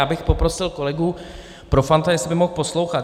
Já bych poprosil kolegu Profanta, jestli by mohl poslouchat.